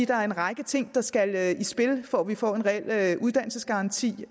der er en række ting der skal i spil for at vi får en reel uddannelsesgaranti